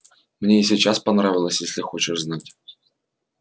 мне и сейчас понравилось если хочешь знать